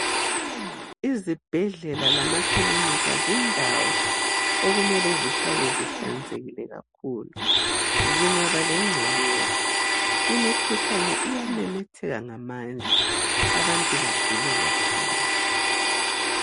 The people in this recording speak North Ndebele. Izibhedlela lama kilinika zindawo okumele zihlale zihlanzekile kakhulu. Zingaba lengcekeza imikhuhlane iyamemetheka ngamandla abantu bagule kakhulu.